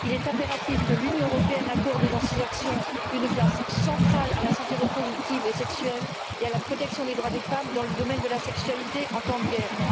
Il est impératif que l'Union accorde dans ses actions une place centrale à la santé reproductive et sexuelle et à la protection des droits des femmes dans le domaine de la sexualité en temps de guerre.